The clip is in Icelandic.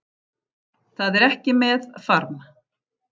Það er ekki með farm